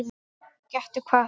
Gettu hvað?